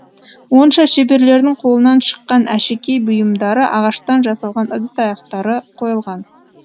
онда шеберлердің қолынан шыққан әшекей бұйымдары ағаштан жасалған ыдыс аяқтары қойылған